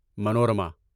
Manorama